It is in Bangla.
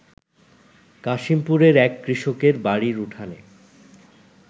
কাশিমপুরের এক কৃষকের বাড়ির উঠানে